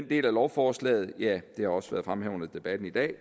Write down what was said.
del af lovforslaget det har også været fremme her under debatten i dag